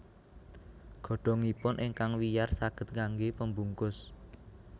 Godhongipun ingkang wiyar saged kanggé pembungkus